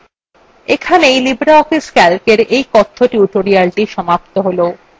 এখানেই libreoffice calcএর এই কথ্য tutorialthe সমাপ্ত হল